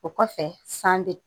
O kɔfɛ san bi